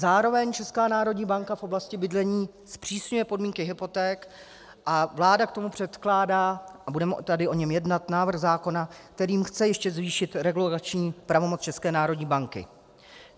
Zároveň Česká národní banka v oblasti bydlení zpřísňuje podmínky hypoték a vláda k tomu předkládá, a budeme tady o něm jednat, návrh zákona, kterým chce ještě zvýšit regulační pravomoc České národní banky.